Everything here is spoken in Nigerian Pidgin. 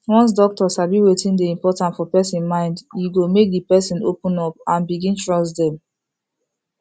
once doctor sabi wetin dey important for person mind e go make the person open up and begin trust dem